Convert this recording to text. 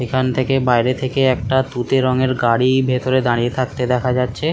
এখান থেকে বাইরে থেকে একটা তুঁতে রঙের গাড়ি ভেতরে দাঁড়িয়ে থাকতে দেখা যাচ্ছে।